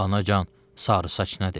Anacan, sarısaç nədir?